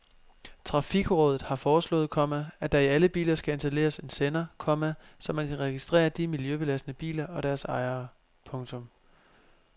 Trafikrådet har foreslået, komma at der i alle biler skal installeres en sender, komma så man kan registrere de miljøbelastende biler og deres ejere. punktum